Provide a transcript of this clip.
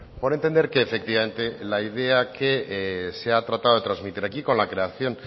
por entender que efectivamente la idea que se ha tratado de transmitir aquí con la creación